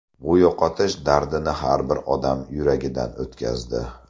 Bu yo‘qotish dardini har bir odam yuragidan o‘tkazdi.